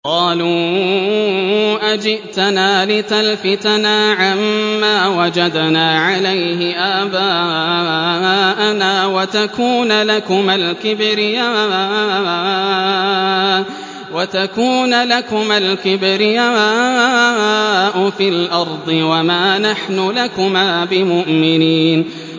قَالُوا أَجِئْتَنَا لِتَلْفِتَنَا عَمَّا وَجَدْنَا عَلَيْهِ آبَاءَنَا وَتَكُونَ لَكُمَا الْكِبْرِيَاءُ فِي الْأَرْضِ وَمَا نَحْنُ لَكُمَا بِمُؤْمِنِينَ